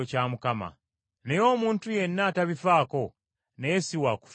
Naye omuntu yenna atabifaako naye si wa kufiibwako.